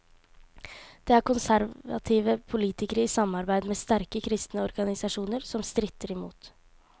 Det er konservative politikere i samarbeid med sterke kristne organisasjoner som stritter i mot.